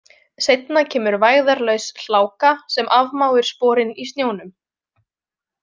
Seinna kemur vægðarlaus hláka sem afmáir sporin í snjónum.